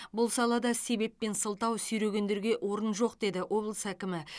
бұл салада себеп пен сылтау сүйрегендерге орын жоқ деді облыс әкімі